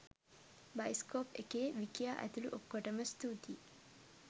bioscope එකේ විකියා ඇතුළු ඔක්කොටම ස්තුතියි